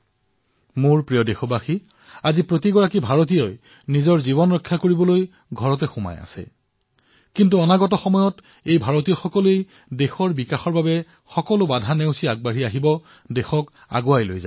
মোৰ মৰমৰ দেশবাসীসকল আজি প্ৰতিজন ভাৰতীয় নিজৰ ৰক্ষাৰ বাবে ঘৰত বন্ধ হৈ আছে কিন্তু আগন্তুক সময়ছোৱাত এই ভাৰতীয়ই নিজৰ দেশৰ বিকাশৰ বাবে ৰুদ্ধ দেৱাল ভাঙি আগবাঢ়ি ওলাই আহিব দেশক আগুৱাই লৈ যাব